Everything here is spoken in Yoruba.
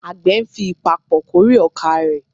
Àgbẹ̀ ń fi ìpapọ̀ kórè ọkà rẹ̀.